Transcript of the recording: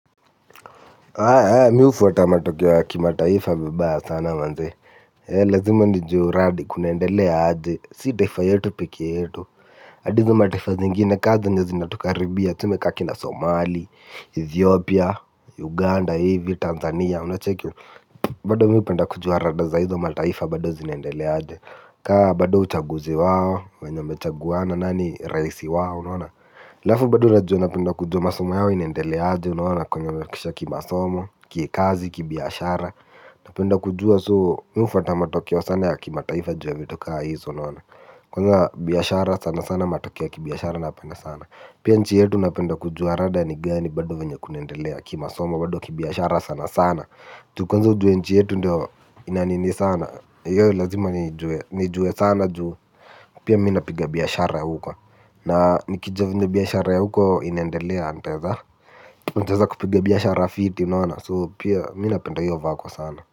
Mi hufuata matokeo la kimataifa vibaya sana manze, lazima nijue uradi kunaendelea aje, si taifa yetu peke yetu hadi hizo mataifa zingine kaa zenye zinatukaribia tuseme ka kina Somali, Ethiopia, Uganda hivi, Tanzania unacheki. Bado mi hupenda kujua rada za hizo mataifa bado zineendelea aje, kaa bado uchaguzi wao, wanye wamechaguana nani raisi wao unaona. Aafu bado najua napenda kujua masomo yao inendeleaaje unaona kwenye waefikisha kimasomo, kikazi, kibiashara. Napenda kujua soo mi hufata matokeo sana ya kimataifa ju ya vitu kaa hizo unaona. Kwanza biashara sana sana matokeo ya kibiashara napenda sana. Pia nchi yetu napenda kujua rada ni gani bado venye kunaendelea kimasomo bado kibiashara sana sana. Ju kwanza ujue nchi yetu ndio ina nini sana hiyo lazima niijue nijue sana juu pia mi napiga biashara huku. Na nikijua venye biashara ya huko inendelea nitaeza nitaeza kupige biashara fiti unaona so pia mi napenda hiyo vako sana.